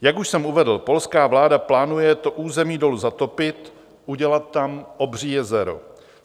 Jak už jsem uvedl, polská vláda plánuje to území dolu zatopit, udělat tam obří jezero.